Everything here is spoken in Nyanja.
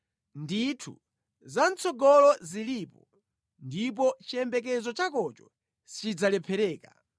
Ndithu za mʼtsogolo zilipo ndipo chiyembekezo chakocho sichidzalephereka.